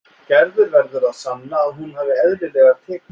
Gerður verður að sanna að hún hafi eðlilegar tekjur.